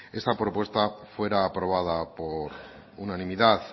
esta propuesta fuera aprobada por unanimidad